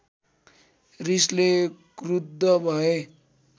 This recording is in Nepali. रिसले क्रुद्ध भए